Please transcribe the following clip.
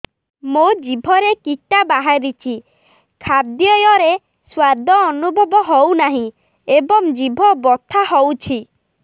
ମୋ ଜିଭରେ କିଟା ବାହାରିଛି ଖାଦ୍ଯୟରେ ସ୍ୱାଦ ଅନୁଭବ ହଉନାହିଁ ଏବଂ ଜିଭ ବଥା ହଉଛି